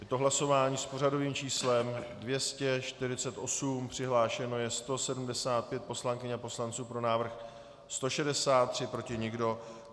Je to hlasování s pořadovým číslem 248, přihlášeno je 175 poslankyň a poslanců, pro návrh 163, proti nikdo.